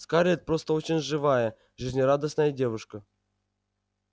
скарлетт просто очень живая жизнерадостная девушка